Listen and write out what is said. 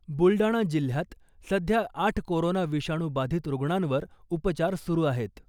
बुलडाणा जिल्ह्यात सध्या आठ कोरोना विषाणू बाधित रुग्णांवर उपचार सुरु आहेत .